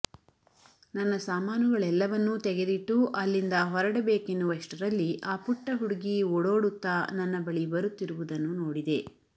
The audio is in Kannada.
ನನ್ನ ಸಾಮಾನುಗಳೆಲ್ಲವನ್ನೂ ತೆಗೆದಿಟ್ಟು ಅಲ್ಲಿಂದ ಹೊರಡಬೇಕೆನ್ನುವಷ್ಟರಲ್ಲಿ ಆ ಪುಟ್ಟ ಹುಡುಗಿ ಓಡೋಡುತ್ತಾ ನನ್ನ ಬಳಿ ಬರುತ್ತಿರುವುದನ್ನು ನೋಡಿದೆ